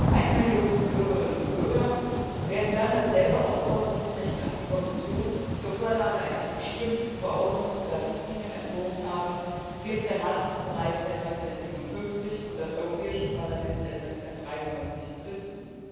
Eine Million Bürgerinnen und Bürger werden dann dasselbe Recht haben, die Kommission zur Vorlage eines bestimmten Verordnungs oder Richtlinienentwurfs aufzufordern, wie es der Rat bereits seit 1957 und das Europäische Parlament seit 1993 besitzen.